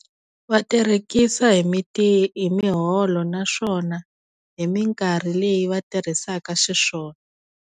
Va tirekisa hi hi miholo naswona hi minkarhi leyi va tirhisaka xiswona.